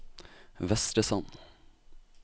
Vestresand